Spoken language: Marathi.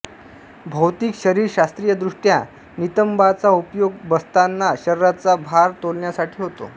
भौतिक शरीरशास्स्त्रीयदृष्ट्या नितंबांचा उपयोग बसताना शरीराचा भार तोलण्यासाठी होतो